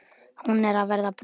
Hún er að verða bráð.